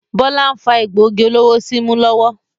Bọlá ń fa egbògi olóró símú lọ́wọ́